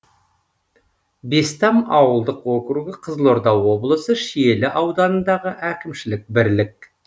бестам ауылдық округі қызылорда облысы шиелі ауданындағы әкімшілік бірлік